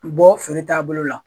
I bɔ feere t'a bolo la.